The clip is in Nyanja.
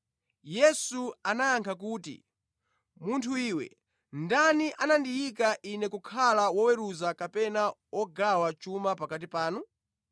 Yesu anayankha kuti, “Munthu iwe, ndani anandiyika Ine kukhala woweruza kapena wogawa chuma pakati panu?”